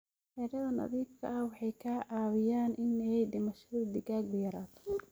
Xiraadha nadiifka ah waxay ka caawiyaan in aay dhimashada digaaga yarato.